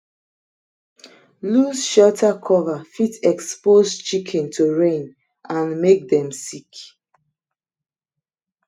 loose shelter cover fit expose chicken to rain and make dem sick